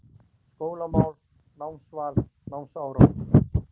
SKÓLAMÁL, NÁMSVAL, NÁMSÁRANGUR